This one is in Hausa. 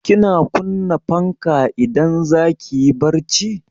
Kina kunna fanka idan zaki yi barci?